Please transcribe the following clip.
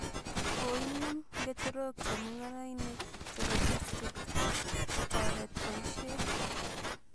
Koinem ngecherok chemungarainik chepo district kotoret poisheet